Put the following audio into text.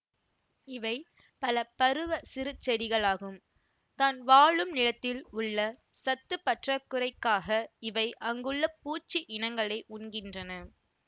இவை பலபருவச் சிறு செடிகளாகும் தான் வாழும் நிலத்தில் உள்ள சத்துப்பற்றாக்குறைக்காக இவை அங்குள்ள பூச்சி இனங்களை உண்கின்றன